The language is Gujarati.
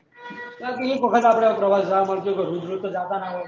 કારણ કે એક વખત આપળે અમદાવાદ મળતું હોય રોજ રોજ તો જતા ના હોય